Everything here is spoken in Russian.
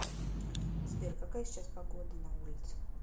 сбер какая сейчас погодана улице